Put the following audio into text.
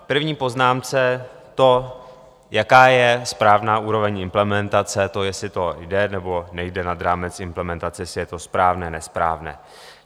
V první poznámce to, jaká je správná úroveň implementace, to, jestli to jde nebo nejde nad rámec implementace, jestli je to správné, nesprávné.